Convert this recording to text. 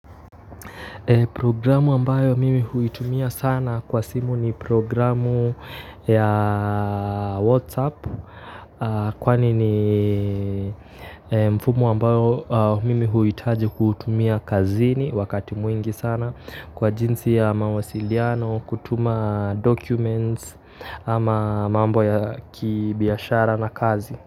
Programu ambayo mimi huitumia sana kwa simu ni programu ya WhatsApp kwani ni mfumo ambao mimi huhitaji kutumia kazini wakati mwingi sana kwa jinsi ya mawasiliano, kutuma documents ama mambo ya kibiashara na kazi.